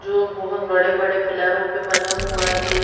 जो बहुत बड़े-बड़े पिलरों पे बना हुआ है।